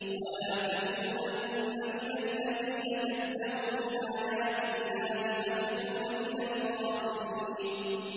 وَلَا تَكُونَنَّ مِنَ الَّذِينَ كَذَّبُوا بِآيَاتِ اللَّهِ فَتَكُونَ مِنَ الْخَاسِرِينَ